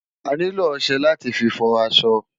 Ániló òṣè láti fi fò aṣọ